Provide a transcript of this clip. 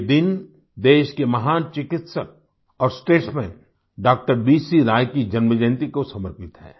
ये दिन देश के महान चिकित्सक और स्टेट्समैन डॉक्टर बीसी राय की जन्मजयंती को समर्पित है